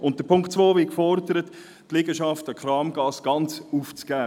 Unter Ziffer 2 wird gefordert, die Liegenschaft an der Kamgasse sei ganz aufzugeben.